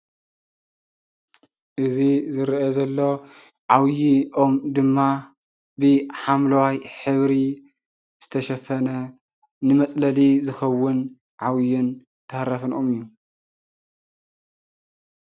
እዚ ዝርአ ዘሎ ዓብዪ ኦም ድማ ብሓምለዋይ ሕብሪ ዝተሸፈነ ንመፅለሊ ዝኸውን ዓብዪን ተሃራፍን ኦም እዩ፡፡